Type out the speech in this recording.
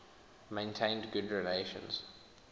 maintained good relations